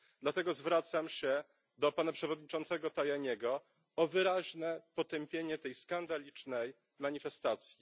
Dlatego zwracam się do pana przewodniczącego Tajaniego o wyraźne potępienie tej skandalicznej manifestacji.